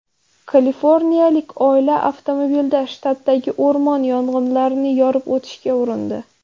Kaliforniyalik oila avtomobilda shtatdagi o‘rmon yong‘inlarini yorib o‘tishga urindi.